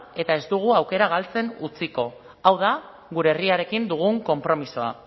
eta ez dugu aukera galtzen utziko hau da gure herriarekin dugun konpromisoa